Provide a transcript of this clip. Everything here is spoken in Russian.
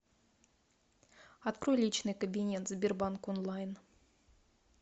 открой личный кабинет сбербанк онлайн